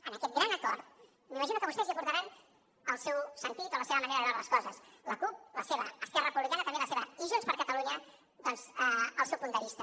en aquest gran acord m’imagino que vostès hi aportaran el seu sentit o la seva manera de veure les coses la cup la seva esquerra republicana també la seva i junts per catalunya doncs el seu punt de vista